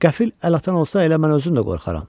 Qəfil əl atan olsa elə mən özüm də qorxaram.